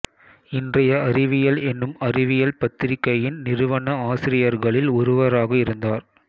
இன்றைய அறிவியல் எனும் அறிவியல் பத்திரிகையின் நிறுவன ஆசிரியர்களில் ஒருவராக இருந்தார்